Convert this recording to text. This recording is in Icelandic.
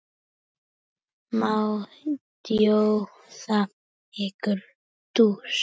Má bjóða okkur djús?